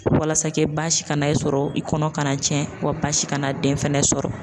Walasa kɛ baasi kana e sɔrɔ, i kɔnɔ kana tiɲɛ w basi kana den fɛnɛ sɔrɔ.